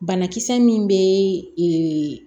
Banakisɛ min bɛ ee